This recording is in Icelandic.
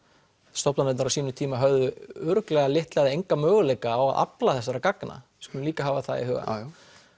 stofnanirnar á sínum tíma höfðu örugglega litla eða enga möguleika á að afla þessara gagna skulum líka hafa það í huga